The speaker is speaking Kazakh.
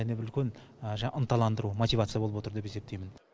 және бір үлкен ынталандыру мотивация болып отыр деп есептеймін